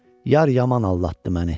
Yar yaman aldatdı məni.